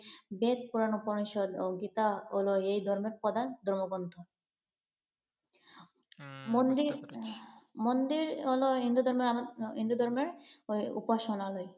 বেদ, পুরাণ, উপনিষদ ও গীতা হল এই ধর্মের প্রধান ধর্মগ্রন্থ। মন্দির মন্দির হল হিন্দুধর্মের উপাসনালয় ।